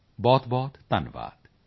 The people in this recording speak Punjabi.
ਬਹੁਤਬਹੁਤ ਧੰਨਵਾਦ